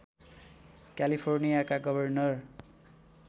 क्यालिफोर्नियाका governor